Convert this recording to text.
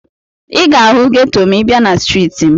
Ị ga-ahụ geto ma ị bịa na streeti m.